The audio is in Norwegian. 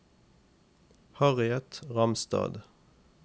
Harriet Ramstad